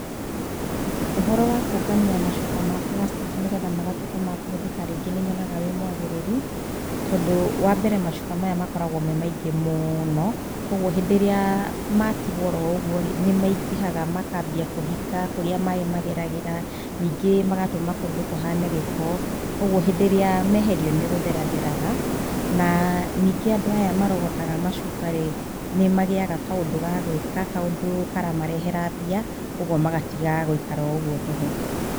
Ũhoro wa kũũngania macuba ma plastic nĩgetha magatuĩka makũhũthĩka rĩngĩ nĩ nyonaga wĩ mwagĩrĩru tondũ wambere macuba maya makoragwo me maingĩ mũno. Koguo hĩndĩ ĩrĩa matigwo o ro ũguo rĩ, nĩ maingĩhaga makambia kũhinga kũrĩa maĩ mageragĩra ningĩ magatũma kũndũ kũhane gĩko. Koguo hĩndĩ ĩrĩa meherio nĩ gũtheratheraga na ningĩ andũ aya marogotaga macuba rĩ, nĩ magĩyaga kaũndũ ga gwĩka, kaũndũ karamarehera mbia koguo magatiga gũikara o ũguo tũhũ.